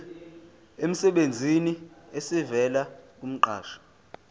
emsebenzini esivela kumqashi